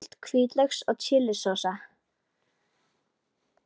Köld hvítlauks og chili sósa